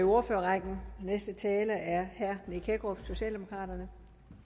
ordførerrækken den næste taler er herre nick hækkerup socialdemokraterne